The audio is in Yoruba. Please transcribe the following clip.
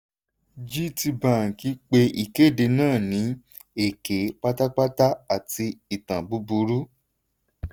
gtbank pé ìkéde náà ní èké pátápátá àti ìtàn búburú.